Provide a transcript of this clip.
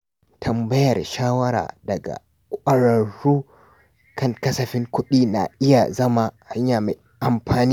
Tambayar shawara daga ƙwararru kan kasafin kuɗi na iya zama hanya mai amfani.